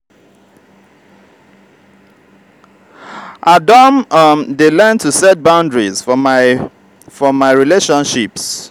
i don um dey learn to set boundaries for my for my relationships.